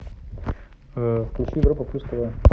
включи европа плюс тв